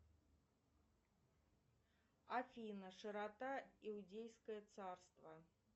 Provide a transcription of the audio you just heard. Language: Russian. афина широта иудейское царство